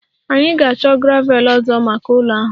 Anyị ga-achọ gravel ọzọ maka ụlọ ahụ